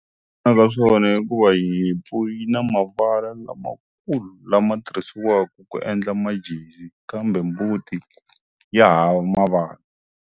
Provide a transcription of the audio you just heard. Ka swona hikuva hi nyimpfu yi na mavala lamakulu lama tirhisiwaku ku endla majezi kambe mbuti yi hava mavala.